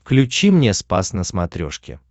включи мне спас на смотрешке